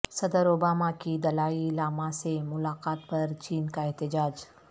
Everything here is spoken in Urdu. صدر اوباما کی دلائی لاما سے ملاقات پر چین کا احتجاج